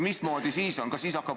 Mismoodi siis on?